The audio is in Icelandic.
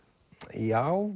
já